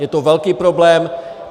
Je to velký problém.